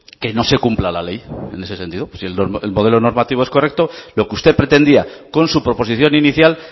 que no se cumpla la ley en ese sentido si el modelo normativo es correcto lo que usted pretendía con su proposición inicial